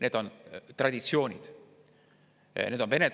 Need on traditsioonid.